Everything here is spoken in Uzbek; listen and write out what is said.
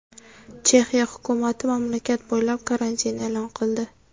Chexiya hukumati mamlakat bo‘ylab karantin e’lon qildi.